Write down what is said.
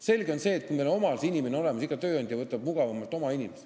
Selge on see, et kui meil on oma inimene olemas, siis iga tööandja võtab oma inimese, see on mugavam.